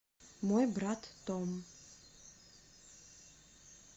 мой брат том